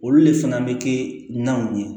Olu le fana bɛ kɛ naw ye